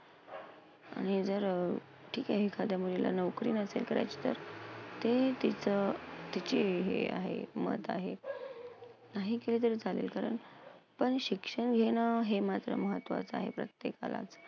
आणि जर अं ठिके एखाद्या मुलीला नोकरी नसेल करायची तर ते तिथं तिची हे आहे एकमत आहे, नाही ऐकले तरी चालेल, कारण पण शिक्षण घेणं हे मात्र महत्वाचं आहे प्रत्येकालाच.